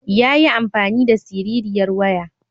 Yayi amfani da siririyar waya.